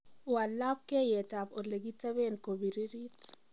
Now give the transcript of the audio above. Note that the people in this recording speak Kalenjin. wal labkeiyet ab olekiteben kobirit